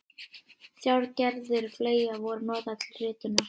Þrjár gerðir fleyga voru notaðar til ritunar.